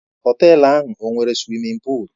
Họtelu ahụ ọ nwere suwimin pụụlu?